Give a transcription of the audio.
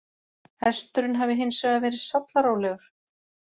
Hesturinn hafi hins vegar verið sallarólegur